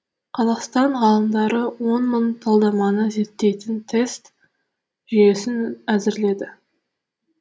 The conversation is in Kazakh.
қазақстан ғалымдары он мың талдаманы зерттейтін тест жүйесін әзірледі